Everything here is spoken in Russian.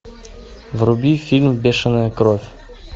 вруби фильм бешеная кровь